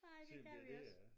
Ej det kan vi også